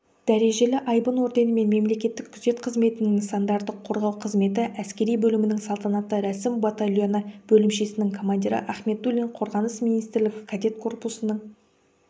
дәрежелі айбын орденімен мемлекеттік күзет қызметінің нысандарды қорғау қызметі әскери бөлімінің салтанатты рәсім батальоны бөлімшесінің командирі ахметуллин қорғаныс министрлігі кадет корпусының